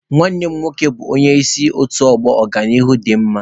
Nwanne m nwoke bụ onye isi otu ọgbọ Ọganihu dị mma.